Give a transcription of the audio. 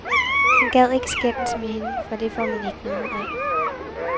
Han gad ikke skændes med hende, for det får man ikke noget ud af.